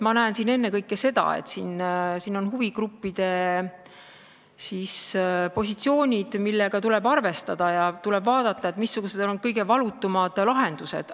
Ma näen ennekõike seda, et siin on huvigruppide positsioonid, millega tuleb arvestada, ja tuleb vaadata, missugused on kõige valutumad lahendused.